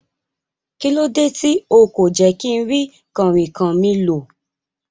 Kílódé ti o kò jé kínrí kànrìnkàn mi lò